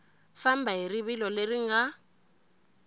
famba hi rivilo leri nga